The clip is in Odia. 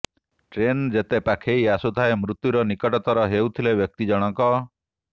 ଟ୍ରେନ୍ ଯେତେ ପାଖେଇ ଆସୁଥାଏ ମୃତ୍ୟୁର ନିକଟତର ହେଉଥିଲେ ବ୍ୟକ୍ତି ଜଣକ